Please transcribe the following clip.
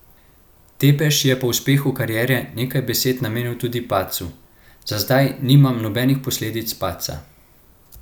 Tepeš je po uspehu kariere nekaj besed namenil tudi padcu: 'Za zdaj nimam nobenih posledic padca.